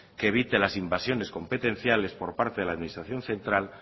que evite las invasiones competenciales por parte de la administración central